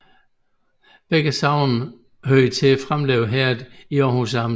Begge sogne hørte til Framlev Herred i Aarhus Amt